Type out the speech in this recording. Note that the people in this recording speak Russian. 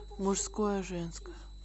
мужское женское